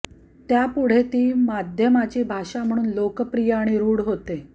त्यापुढे ती माध्यमाची भाषा म्हणून लोकप्रिय आणि रूढ होते